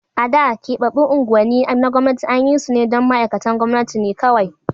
A da, keɓaɓɓun unguwanni na gwamnati an yi su ne don ma'aikatan gwamnati ne kawai.